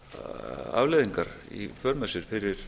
katastrófískar afleiðingar í för með sér fyrir